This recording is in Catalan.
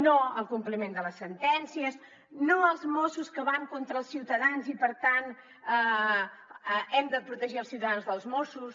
no al compliment de les sentències no als mossos que van contra els ciutadans i per tant hem de protegir els ciutadans dels mossos